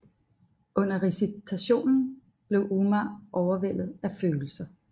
Under recitationen blev Umar overvældet af følelser